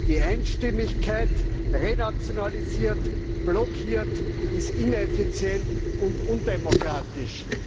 Die Einstimmigkeit renationalisiert, blockiert, ist ineffizient und undemokratisch.